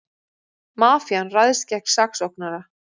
Mafían ræðst gegn saksóknara